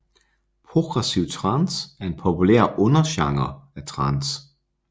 Progressiv trance er en populær undergenre af trance